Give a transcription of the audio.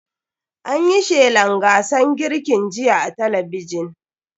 An yi shelan gasar girkin jiya a talabijin.